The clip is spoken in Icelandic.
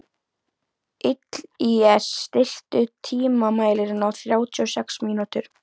Illíes, stilltu tímamælinn á þrjátíu og sex mínútur.